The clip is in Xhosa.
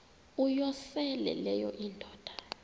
uyosele leyo indoda